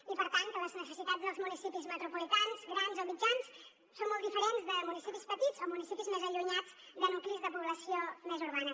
i per tant les necessitats dels municipis metropolitans grans o mitjans són molt diferents de municipis petits o municipis més allunyats de nuclis de població més urbana